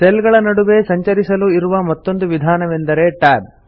cell ಗಳ ನಡುವೆ ಸಂಚರಿಸಲು ಇರುವ ಮತ್ತೊಂದು ವಿಧಾನವೆಂದರೆ Tab